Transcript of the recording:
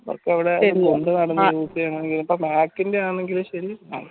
അവർക്കവിടെ കൊണ്ട് നടന്നാലും ആണേലും ശരി